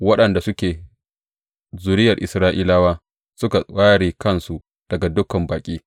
Waɗanda suke zuriyar Isra’ilawa suka ware kansu daga dukan baƙi.